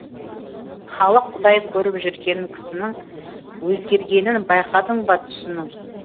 халық құдай көріп жүрген кісінің өзгергенін байқадың ба түсінің